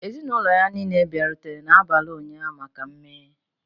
Ezinụlọ ya niile bịarutere n'abalị ụnyahụ maka mmeghe.